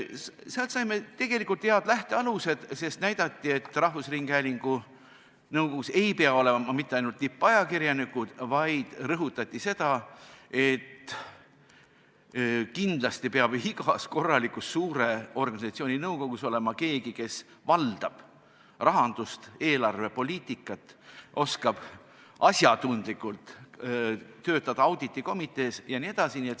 Sealt saime tegelikult head lähtealused, sest näidati, et rahvusringhäälingu nõukogus ei pea olema mitte ainult tippajakirjanikud, vaid rõhutati, et kindlasti peab igas korralikus suure organisatsiooni nõukogus olema ka keegi, kes valdab rahandust, eelarvepoliitikat, oskab asjatundlikult töötada auditikomitees jne.